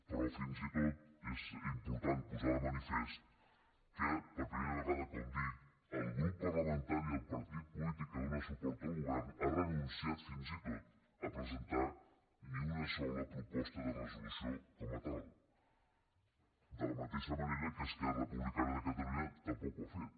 però fins i tot és important posar de manifest que per pri·mera vegada com dic el grup parlamentari del partit polític que dóna suport al govern ha renunciat fins i tot a presentar ni una sola proposta de resolució com a tal de la mateixa manera que esquerra republicana de catalunya tampoc ho ha fet